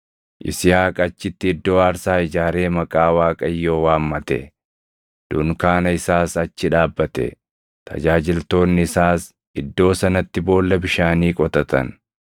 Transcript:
Yisihaaq achitti iddoo aarsaa ijaaree maqaa Waaqayyoo waammate. Dunkaana isaas achi dhaabbate; tajaajiltoonni isaas iddoo sanatti boolla bishaanii qotatan.